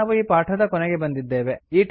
ಈಗ ನಾವು ಈ ಪಾಠದ ಕೊನೆಗೆ ಬಂದಿದ್ದೇವೆ